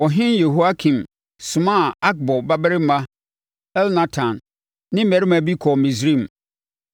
Ɔhene Yehoiakim somaa Akbor babarima Elnatan ne mmarima bi kɔɔ Misraim.